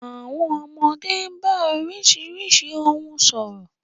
Àwọn ọmọdé ń bá oríṣiríṣi ohùn sọ̀rọ̀.